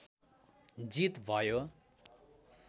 जित भयो